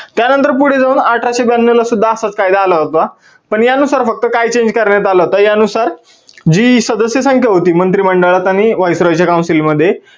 त्या नंतर पुढे जाऊन अठराशे ब्यान्नौ ला सुद्धा असाच कायदा आला होता, पण या नुसार फक्त काय change करण्यात आलं होत या नुसार जी सदस्य संख्या होती मंत्री मंडळात आणि viceroy च्या council मध्ये